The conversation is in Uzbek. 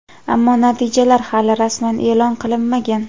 Ammo natijalar hali rasman e’lon qilinmagan.